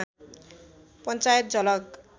पञ्चायत झलक